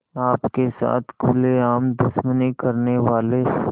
आपके साथ खुलेआम दुश्मनी करने वाले